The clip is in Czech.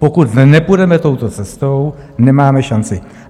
Pokud nepůjdeme touto cestou, nemáme šanci.